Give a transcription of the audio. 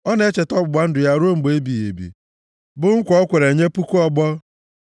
Ọ na-echeta ọgbụgba ndụ ya ruo mgbe ebighị ebi, bụ nkwa o kwere nye puku ọgbọ,